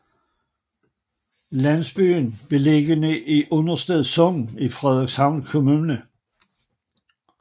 Landsbyen er beliggende i Understed Sogn i Frederikshavn Kommune